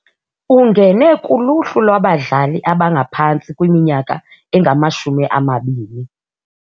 Ungene kuluhlu lwabadlali abangaphantsi kwiminyaka engamashumi amabini.